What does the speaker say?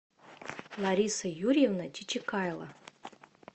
лариса юрьевна чичикайло